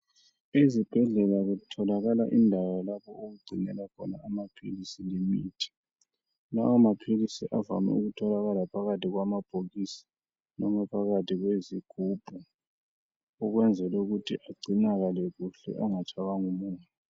Izibhedlela zitholakala indawo lapho okugcinelwa khona amaphilisi lemithi, lawo maphilisi avame ukutholakala phakathi kwamabhokisi loba phakathi kwezigubhu ukwenzelukuthi kugcinakale kuhle engatshyaywa ngumoya.